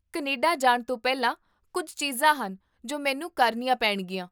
Canada ਜਾਣ ਤੋਂ ਪਹਿਲਾਂ ਕੁੱਝ ਚੀਜ਼ਾਂ ਹਨ ਜੋ ਮੈਨੂੰ ਕਰਨੀਆਂ ਪੈਣਗੀਆਂ